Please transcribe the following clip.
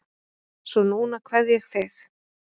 Svo núna kveð ég þig.